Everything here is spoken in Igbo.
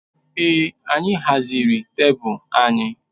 Ee anyị haziri tebụl anyị